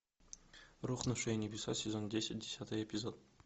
рухнувшие небеса сезон десять десятый эпизод